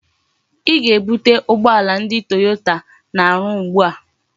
I ga-ebute ugboala ndi Toyota na-aru ugbu a!